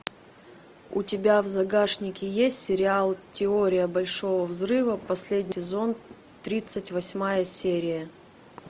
у тебя в загашнике есть сериал теория большого взрыва последний сезон тридцать восьмая серия